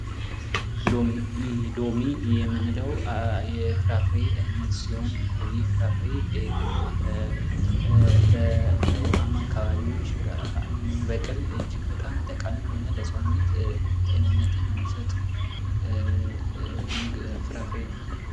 ሎሚ ። ሎሚ የምንለው የፍራፍሬ አይነት ሲሆን ይህ ፍራፍሬ በውሃማ አካባቢዎች የሚበቅል እጅግ በጣም ጠቃሚ የሆነ ለሰውነት ጤንነትን የሚሰጥ ፍራፍሬ ነው ።